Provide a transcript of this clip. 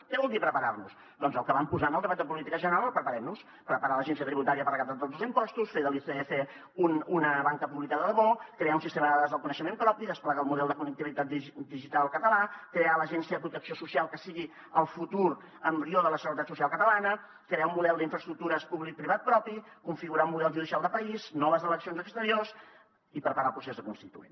què vol dir preparar nos doncs el que vam posar en el debat de política general al preparem nos preparar l’agència tributària per recaptar tots els impostos fer de l’icf una banca pública de debò crear un sistema de dades del coneixement propi desplegar el model de connectivitat digital català crear l’agència de protecció social que sigui el futur embrió de la seguretat social catalana crear un model d’infraestructures publicoprivat propi configurar un model judicial de país noves eleccions exteriors i preparar el procés constituent